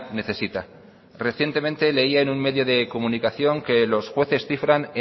necesita recientemente leía en un medio de comunicación que los jueces cifran